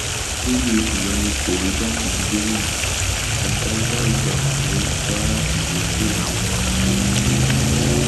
lórí ìyọnipo igbákejì gómìnà adájọàgbà ọǹdọ já ìrètí àwọn asòfin kulẹ